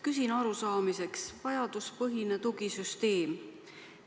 Küsin arusaamiseks vajaduspõhise tugisüsteemi kohta.